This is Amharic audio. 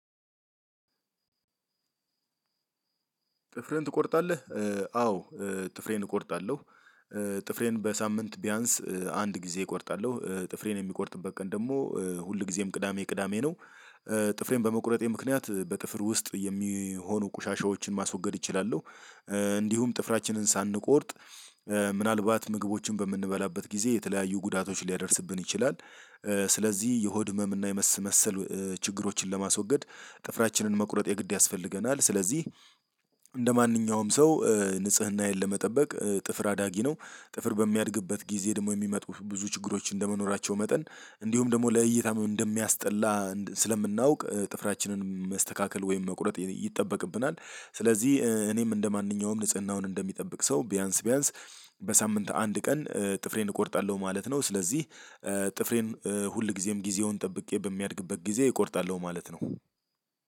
ጥፍርህን ትቆርጣለህ? አዎ። ጥፍሬን እቆርጣለሁ ጥፍሬን በሳምንት ቢያንስ አንድ ጊዜ እቆርጣለሁ ጥፍሬን የምቆርጥበት ቀን ደግሞ ሁል ጊዜም ቅዳሜ ቅዳሜ ነው። ጥፍሬን በመቁረጤ ምክንያት በጥፍር ውስጥ የሚሆኑ ቁሻሻዎችን ማስወገድ እችላለሁ። እንዲሁም ጥፍራችንን ሳንቆርጥ ምናልባት ምግቦችን በምንበላበት ጊዜ የተለያዩ ጉዳቶች ሊያደርስብን ይችላል። ስለዚህ የሆድ ህመም እና የመሰል ችግሮችን ለማስወገድ ጥፍራችንን መቁረጥ የግድ ያስፈልገናል። ስለዚህ እንደማንኛውም ሰው ንጽህናዬን ለመጠበቅ ጥፍር አዳጊ ነው። ጥፍር በሚያድግበት ጊዜ ደግሞ የሚመጡ ብዙ ችግሮች እንደመኖራቸው መጠን እንዲሁም ደግሞ ለእይታም እንደሚያስጠላ ስለምናውቅ ጥፍራችንን መስተካከል ወይም መቁረጥ ይጠበቅብናል። ስለዚህ እኔም እንደማንኛውም ንጽህናውን እንደሚጠብቅ ሰው ቢያንስ ቢያንስ በሳምንት አንድ ቀን ጥፍሬን እቆርጣለሁ ማለት ነው። ስለዚህ ጥፍሬን ሁልጊዜም ጊዜውን ጠብቄ በሚያድግበት ጊዜ እቆርጣለሁ ማለት ነው።